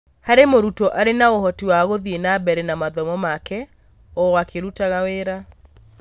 hari mũrutwo ari na ũhoti wa gũthiĩ na mbere na mathomo make o akĩrũtaga wĩra.